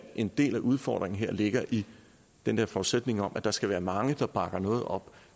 en del af udfordringen her ligger i den der forudsætning om at der skal være mange der bakker noget op